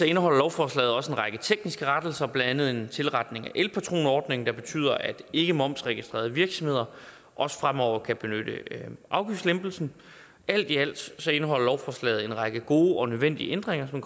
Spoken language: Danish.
indeholder lovforslaget også en række tekniske rettelser blandt andet en tilretning af elpatronordningen der betyder at ikkemomsregistrerede virksomheder også fremover kan benytte afgiftslempelsen alt i alt indeholder lovforslaget en række gode og nødvendige ændringer som